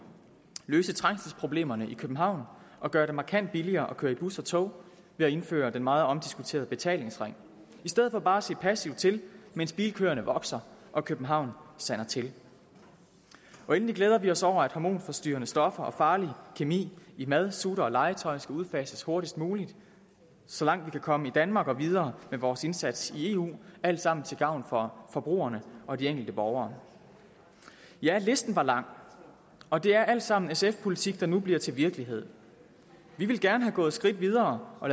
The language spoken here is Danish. løse trængselsproblemerne i københavn og gøre det markant billigere at køre i bus og tog ved at indføre den meget omdiskuterede betalingsring i stedet for bare at se passivt til mens bilkøerne vokser og københavn sander til endelig glæder vi os over at hormonforstyrrende stoffer og farlig kemi i mad sutter og legetøj skal udfases hurtigst muligt så langt vi kan komme i danmark og videre med vores indsats i eu alt sammen til gavn for forbrugerne og de enkelte borgere ja listen var lang og det er alt sammen sf politik der nu bliver til virkelighed vi ville gerne være gået et skridt videre og